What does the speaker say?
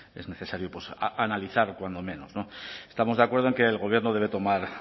es necesario analizar cuando menos estamos de acuerdo en que el gobierno debe tomar